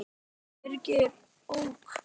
Birkir ók.